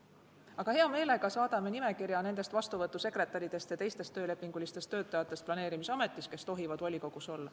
Aga me hea meelega saadame teile nimekirja nendest vastuvõtusekretäridest ja teistest töölepingulistest töötajatest, kes tohivad volikogus olla.